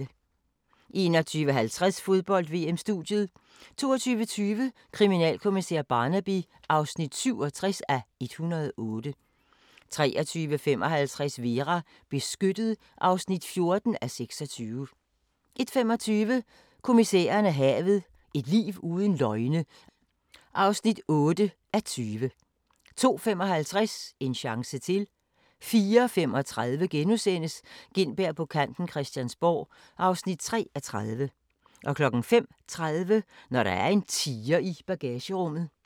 21:50: Fodbold: VM - Studiet 22:20: Kriminalkommissær Barnaby (67:108) 23:55: Vera: Beskyttet (14:26) 01:25: Kommissæren og havet: Et liv uden løgne (8:20) 02:55: En chance til 04:35: Gintberg på kanten - Christiansborg (3:30)* 05:30: Når der er en tiger i bagagerummet